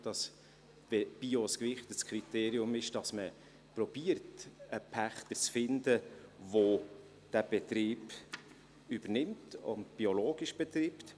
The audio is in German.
Dass man nämlich dann, wenn Bio ein gewichtetes Kriterium ist, versucht, einen Pächter zu finden, der diesen Betrieb übernimmt und biologisch betreibt.